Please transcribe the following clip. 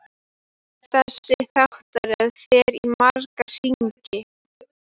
Þessi þáttaröð fer í marga hringi.